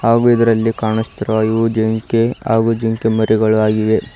ಹಾಗು ಇದರಲ್ಲಿ ಕಾಣಸ್ತಿರುವ ಇವು ಜಿಂಕೆ ಹಾಗು ಜಿಂಕೆ ಮರಿಗಳು ಆಗಿವೆ.